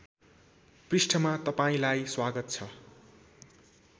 पृष्ठमा तपाईँंलाई स्वागत छ